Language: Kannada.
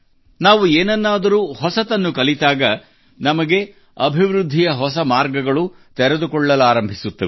ನಾವು ಏನನ್ನಾದರೂ ಹೊಸತನ್ನು ಕಲಿತಾಗ ನಮಗೆ ಅಭಿವೃದ್ಧಿಯ ಹೊಸ ಮಾರ್ಗಗಳು ತೆರೆದುಕೊಳ್ಳಲಾರಂಭಿಸುತ್ತವೆ